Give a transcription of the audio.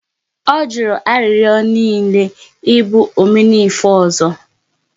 Ọ jụrụ arịrịọ niile ị bụ 'Omenife' ọzọ